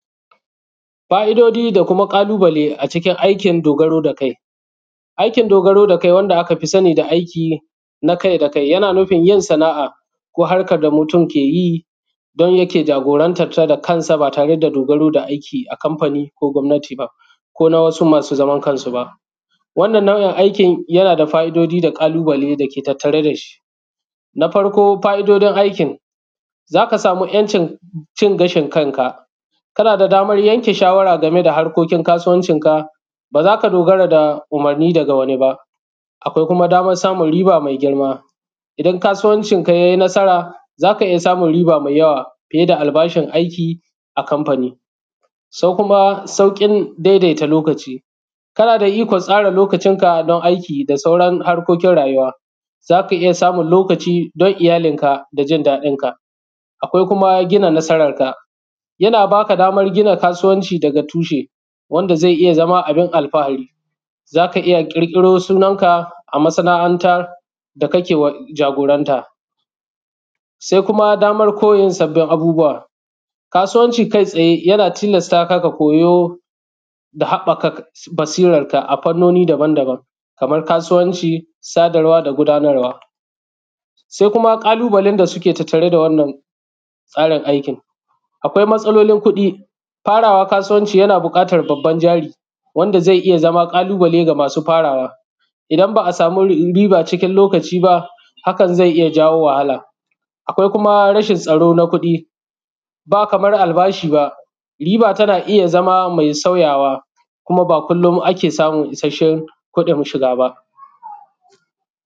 Fa’idoji da kuma ƙalubale a cikin aikin dogaro da kai, aikin dogaro da kai wanda akafi sani da aikin nakai da kai, yana nufin yin sana’a ko harkan da mutum ke yi don yake jagorantanta da kansa ba tare da dogaro da aiki a kanfani ko gwamnati ba ko na wasu masu zaman kansu ba. Wannan aikin yana da fa’idoji da ƙalubale da ke tattare da shi, na farko fa’idojin aikin za ka sama ‘yancin cin gashin kanka, kana da daman yanke shawara game da harkokin kasuwancinka, ba za ka dogara da umurni daga wani ba, akwai kuma daman samun riba me girma; idan kasuwancinka ya yi nasara za ka iya samun riba me yawa fiye da albashin aiki a kanfani, kuma sauƙin daidaita lokaci. Kana da ikon tsara lokacinka don aiki da sauran harkokin rayuwa, za ka iya samun lokaci don iyalinka da jin daɗinka, akwai kuma gina nasaranka, yana baka daman gina kasuwanci daga tushe wanda zai iya zama abin alfahari, za ka iya ƙirƙiro sunan naka a masanantan da kake jagoranta, se kuma daman koyin sabbin abubuwa kasuwanci kai tsaye, yana tilastaka ga koyo da haɓɓaka basiranka ga fannoni daban-daban kaman kasuwancin sadarwa da gudanarwa. Se kuma ƙalubalen da suke tattare da wannan tsarin aikin, akwai matsalolin kuɗi fara kasuwanci, yana buƙatan babban jari wannan zai iya zama ƙalubale ga masu farawa idan ba a sama riba cikin lokaci ba, hakan zai iya jawo wahala, akwai kuma rashin tsaro na kuɗi ba kaman albashi ba, riba tana iya zama me sauyawa kuma ba kullon ake samun isashshen kuɗin shiga ba.